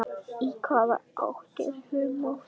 Í hvaða átt er humátt?